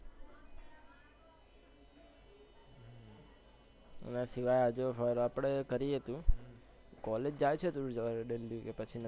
બસ આ જો રખડે પણ ખરી છે તું, college જાય છે કે પછી